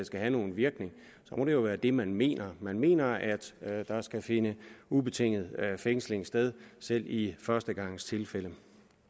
skal have nogen virkning må det jo være det man mener man mener at der skal finde ubetinget fængsling sted selv i førstegangstilfælde